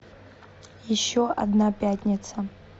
еще одна пятница